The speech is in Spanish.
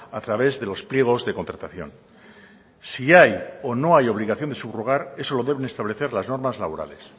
a través de los pliegos de contratación si hay o no hay obligación de subrogar eso lo deben establecer las normas laborales